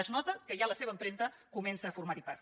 es nota que ja la seva empremta comença a formar ne part